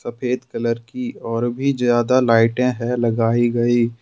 सफेद कलर की और भी ज्यादा लाइटें है लगाई गई।